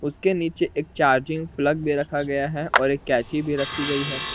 उसके नीचे एक चार्जिंग प्लग दे रखा गया है और एक कैची भी रखी गई है।